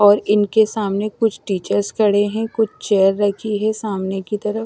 और इनके सामने कुछ टीचर्स खड़े हैं कुछ चेयर रखी है सामने की तरफ--